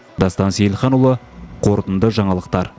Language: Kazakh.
дастан сейілханұлы қорытынды жаңалықтар